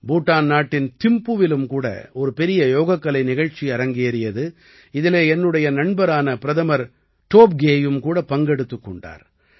பூட்டான் நாட்டின் திம்புவிலும் கூட ஒரு பெரிய யோகக்கலை நிகழ்ச்சி அரங்கேறியது இதிலே என்னுடைய நண்பரான பிரதமர் டோப்கேயும் கூட பங்கெடுத்துக் கொண்டார்